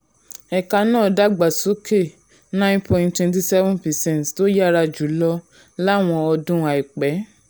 ẹ̀ka náà dàgbà sókè nine point twenty seven percent tó yára jù lọ láwọn ọdún àìpẹ́.